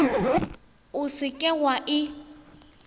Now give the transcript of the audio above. o se ke wa e